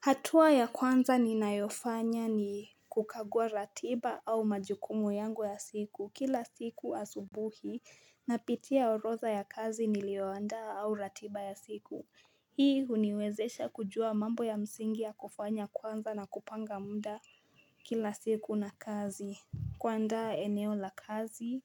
Hatua ya kwanza ni nayofanya ni kukagua ratiba au majukumu yangu ya siku kila siku asubuhi Napitia oroza ya kazi nilioandaa au ratiba ya siku Hii uniwezesha kujua mambo ya msingi ya kufanya kwanza na kupanga muda kila siku na kazi kuandaa eneo la kazi